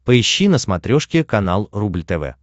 поищи на смотрешке канал рубль тв